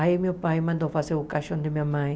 Aí meu pai mandou fazer o caixão de minha mãe.